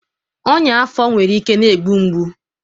ọnyá afọ nwere ike na-egbu mgbu.